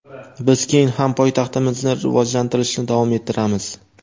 Biz keyin ham poytaxtimizni rivojlantirishni davom ettiramiz.